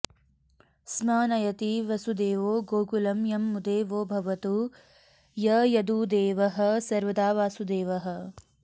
स्म नयति वसुदेवो गोकुलं यं मुदे वो भवतु स यदुदेवः सर्वदा वासुदेवः